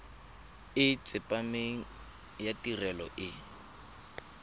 e tsepameng ya tirelo e